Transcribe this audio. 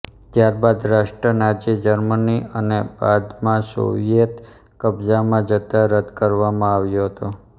ત્યારબાદ રાષ્ટ્ર Nazi Germany અને બાદમાંસોવિયેત કબ્જામાં જતાં રદ કરવામાં આવ્યો હતો